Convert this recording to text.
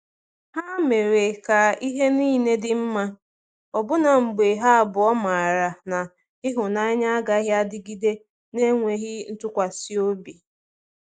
Ha mere ka ihe dị niile mma, ọbụna mgbe ha abụọ maara na ịhụnanya agaghị adịgide na-enweghị ntụkwasị obi.